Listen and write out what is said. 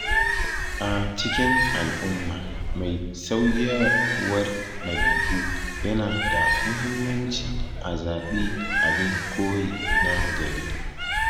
A cikin al’umma mai sauyawar dabi’u, yana da muhimmanci a zabi abin koyi na gari.